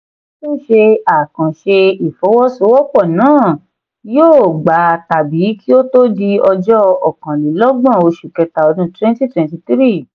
ó tún ṣe àkànṣe ìfọwọ́sowọ́pọ̀ náà yóò gba tàbí kí ó tó di ọjọ́ okàn-lé-lógbòn oṣù kẹta ọdún twenty twenty three